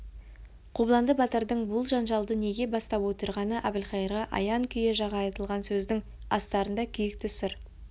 қобыланды батырдың бұл жанжалды неге бастап отырғаны әбілқайырға аян күйе жаға айтылған сөздің астарында күйікті сыр